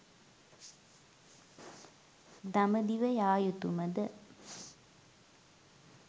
දඹදිව යා යුතුම ද?